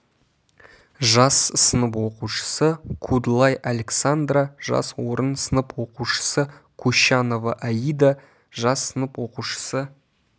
жас сынып оқушысы кудлай александра жас орын сынып оқушысы кущанова аида жас сынып оқушысы